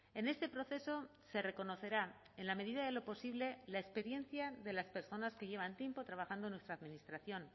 en este proceso se reconocerá en la medida de lo posible la experiencia de las personas que llevan tiempo trabajando en nuestra administración